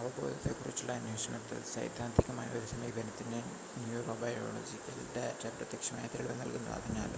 അവബോധത്തെ കുറിച്ചുള്ള അന്വേഷണത്തിൽ സൈദ്ധാന്തികമായ ഒരു സമീപനത്തിന് ന്യുറോബയോളജിക്കൽ ഡാറ്റ പ്രത്യക്ഷമായ തെളിവ് നൽകുന്നു അതിനാൽ